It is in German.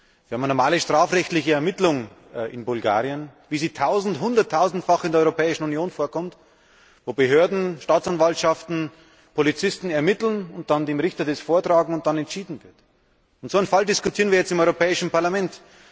Wir haben eine normale strafrechtliche Ermittlung in Bulgarien, wie sie hunderttausendfach in der Europäischen Union vorkommt, wo Behörden, Staatsanwaltschaften, Polizisten ermitteln und dann dem Richter das vortragen und dann entschieden wird. Und so einen Fall diskutieren wir jetzt im Europäischen Parlament!